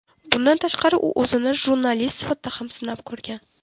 Bundan tashqari u o‘zini jurnalist sifatida ham sinab ko‘rgan.